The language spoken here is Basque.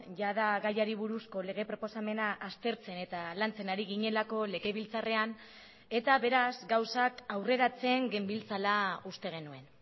jada gaiari buruzko lege proposamena aztertzen eta lantzen ari ginelako legebiltzarrean eta beraz gauzak aurreratzen genbiltzala uste genuen